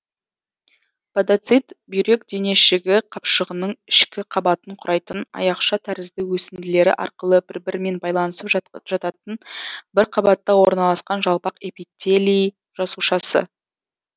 подоцит бүйрек денешігі қапшығының ішкі қабатын құрайтын аяқша тәрізді өсінділері арқылы бір бірімен байланысып жататын бір қабатта орналасқан жалпақ эпителий жасушасы